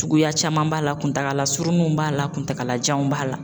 Suguya caman b'a la kuntagala surunninw b'a la kuntagalajanw b'a la